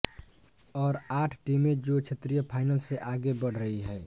और आठ टीमें जो क्षेत्रीय फाइनल से आगे बढ़ रही हैं